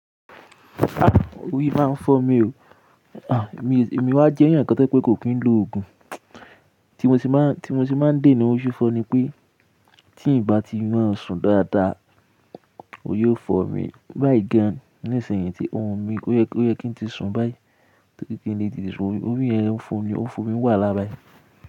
Ah! Orí máa ń fọ́ mi o. Ah! Èmi wá jẹ́ ẹ̀yàn kan tẹ́ pé kò kí ń lo òògùn, tí mo ti máa, tí mo ti máa ń dè ní ó ṣúfọ ni pé tí ì bá ti máa ń sùn dáadáa, ó yóò fọ́ mi báyìí gan-an. Nísìnyí tí orun mi o yẹ kí n ti sùn báyìí, tori kí n lè tete sun orí, orí ẹ n fọ̀ mi, ó ń fọ̀ mi wà lábáyìí.